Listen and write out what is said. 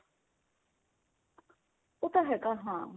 ਉਹ ਤਾਂ ਹੈਗਾ ਹਾਂ